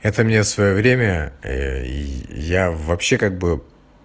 это мне в своё время и я вообще как бы